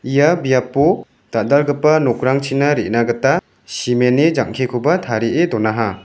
ia biapo dal·dalgipa nokrangchina re·na gita cement-ni jang·kikoba tarie donaha.